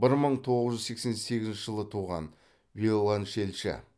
бір мың тоғыз жүз сексен сегізінші жылы туған виоленчельші